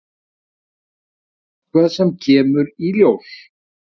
Það er eitthvað sem kemur í ljós.